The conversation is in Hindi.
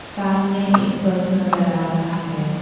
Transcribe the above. सामने एक बस नजर आ रहा है।